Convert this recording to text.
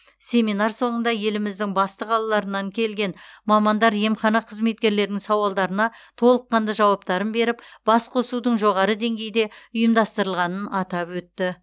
семинар соңында еліміздің басты қалаларынан келген мамандар емхана қызметкерлерінің сауалдарына толыққанды жауаптарын беріп басқосудың жоғары деңгейде ұйымдастырылғанын атап өтті